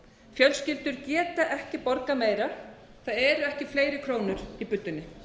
fjölskyldur geta ekki borgað meira það eru ekki fleiri krónur í buddunni